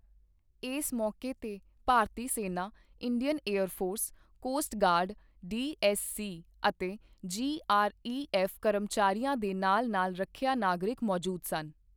ਇਸ ਮੌਕੇ ਤੇ ਭਾਰਤੀ ਸੈਨਾ, Indian air force, coast guard, DSC ਅਤੇ ਜੀਆਰਈਐਫ ਕਰਮਚਾਰੀਆਂ ਦੇ ਨਾਲ ਨਾਲ ਰੱਖਿਆ ਨਾਗਰਿਕ ਮੌਜੂਦ ਸਨ।